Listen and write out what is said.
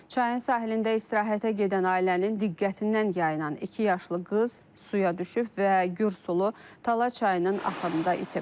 Çayın sahilində istirahətə gedən ailənin diqqətindən yayınan iki yaşlı qız suya düşüb və gürsulu Tala çayının axarında itib.